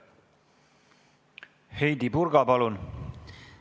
Heidy Purga, palun!